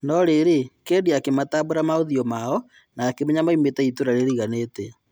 No-rĩ, Kedi akĩmatambura maũthiũ mao na-akĩmenya maumĩte itũra rĩriganĩtie .